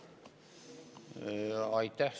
Aitäh!